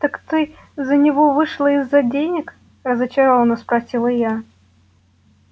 так ты за него вышла из-за денег разочаровано спросила я